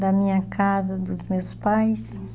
Da minha casa, dos meus pais? Isso.